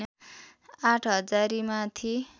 आठ हजारीमाथि